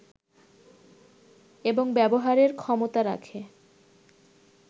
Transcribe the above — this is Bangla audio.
এবং ব্যবহারের ক্ষমতা রাখে